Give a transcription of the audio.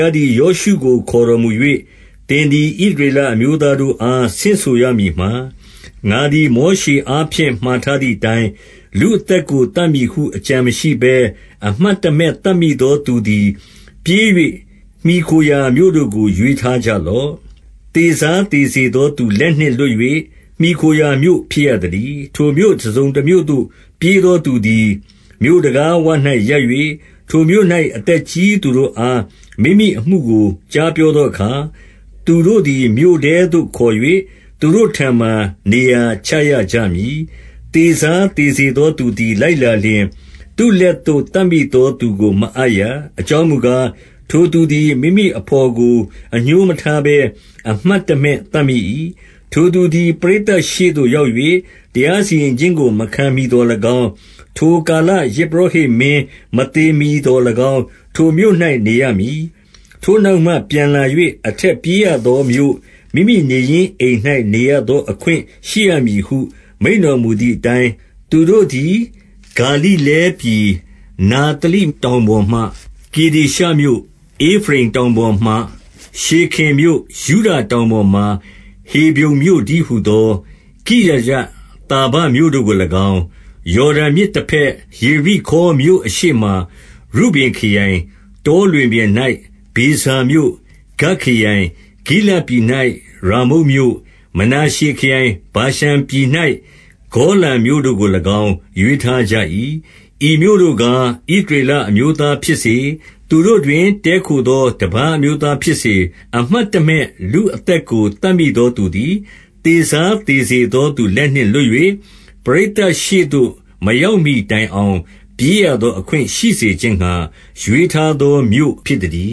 ားသည် ယောရှုကို ခေါ် တော်မူ၍၊ သင်သည် ဣသရေလအမျိုးသားတို့အား ဆင့်ဆိုရမည်မှာ၊ ငါသည် မောရှေအားဖြင့် မှာထားသည် အတိုင်း၊ လူအသက်ကို သတ်မည်ဟု အကြံမရှိဘဲ အမှတ် တမဲ့သတ်မိသောသူသည် ပြေး၍ မှီခိုရာမြို့တို့ကို ရွေး ထားကြလော့။ သေစားသေစေသောသူလက်နှင့် လွတ်၍ မှီခိုရာမြို့ ဖြစ်ရသတည်း။ ထိုမြို့ တစုံတမြို့သို့ ပြေးသောသူသည် မြို့တံခါး ဝ၌ရပ်၍၊ ထိုမြို့၌ အသက်ကြီးသူတို့အား မိမိအမှုကို ကြား ပြောသောအခါ၊ သူတို့သည် မြို့ထဲသို့ခေါ်၍ သူတို့ထံမှာ နေရာချရကြမည်။ သေစားသေစေသောသူသည် လိုက်လာလျှင်၊ သူ့လက်သို့ သတ်မိသောသူကို မအပ်ရ။ အကြောင်းမူ ကား၊ ထိုသူသည် မိမိအဘော်ကို အငြိုးမထားဘဲ အမှတ် တမဲ့သတ်မိ၏။ ထိုသူသည် ပရိသတ်ရှေ့သို့ရောက်၍ တရား စီရင်ခြင်းကို မခံမှီသော်၎င်း၊ ထိုကာလ ယဇ်ပုရောဟိတ် မင်း မသေမှီသော်၎င်း ထိုမြို့၌နေရမည်။ ထိုနောက်မှ ပြန်လာ၍ အထက်ပြေးရသောမြို့၊ မိမိနေရင်းအိမ်၌ နေရသောအခွင့် ရှိရမည်ဟု မိန့်တော်မူသည်အတိုင်း၊ သူတို့သည် ဂါလိလဲပြည်၊ နဿလိတောင်ပေါ် မှာ ကေဒေရှမြို့၊ ဧဖရိမ်တောင်ပေါ်မှာ ရှေခင်မြို့၊ ယုဒ တောင်ပေါ်မှာ ဟေဗြုန်မြို့တည်းဟူသော ကိရယသာဘ မြို့တို့ကို၎င်း၊ ယော်ဒန်မြစ်တဘက်၊ ယေရိခေါမြို့အရှေ့မှာ ရုဗင်ခရိုင်၊ တောလွင်ပြင်၌ ဗေဇာမြို့၊ ဂဒ်ခရိုင်၊ ဂိလဒ် ပြည်၌ ရာမုတ်မြို့၊ မနာရှေခရိုင်၊ ဗာရှန်ပြည်၌ ဂေါလန် မြို့တို့ကို၎င်း ရွေးထားကြ၏။ ဤမြို့တို့ကား၊ ဣသရေလအမျိုးသားဖြစ်စေ၊ သူတို့တွင် တည်းခိုသော တပါးအမျိုးသားဖြစ်စေ၊ အမှတ် တမဲ့ လူအသက်ကို သတ်မိသောသူသည် သေစားသေစေ သောသူလက်နှင့်လွတ်၍ ပရိသတ်ရှေ့သို့ မရောက်မှီတိုင် အောင် ပြေးရသောအခွင့် ရှိစေခြင်းငှါ ရွေးထားသောမြို့ ဖြစ်သတည